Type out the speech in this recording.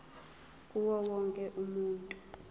kuwo wonke umuntu